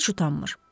Heç utanmır.